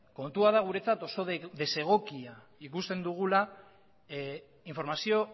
kontua da guretzat oso desegokia ikusten dugula informazio